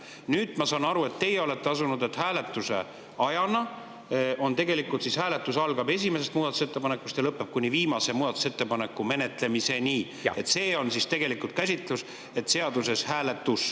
Nüüd ma saan aru, et teie olete asunud, et tegelikult hääletus algab esimesest muudatusettepanekust ja lõpeb viimase muudatusettepaneku menetlemisega, et see on teie käsitlus, mis on seaduses hääletus.